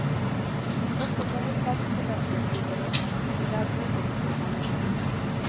Også hovedfagsstudenter blir berørt, men det er uvisst hvor mange.